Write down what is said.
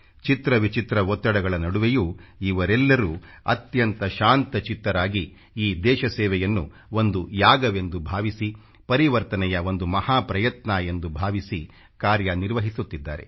ಚಿತ್ರ ವಿಚಿತ್ರ ಒತ್ತಡಗಳ ನಡುವೆಯೂ ಇವರೆಲ್ಲರೂ ಅತ್ಯಂತ ಶಾಂತಚಿತ್ತರಾಗಿ ಈ ದೇಶಸೇವೆಯನ್ನು ಒಂದು ಯಾಗವೆಂದು ಭಾವಿಸಿ ಪರಿವರ್ತನೆಯ ಒಂದು ಮಹಾ ಪ್ರಯತ್ನ ಎಂದು ಭಾವಿಸಿ ಕಾರ್ಯ ನಿರ್ವಹಿಸುತ್ತಿದ್ದಾರೆ